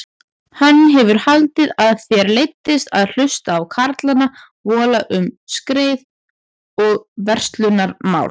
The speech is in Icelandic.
Hann hefur haldið að þér leiddist að hlusta á karlana vola um skreið og verslunarmál.